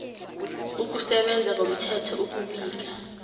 ukusebenza ngomthetho ukubika